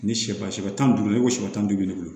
Ni sɛ ba si bɛ tan ni duuru ye i ko siyɛ tan duuru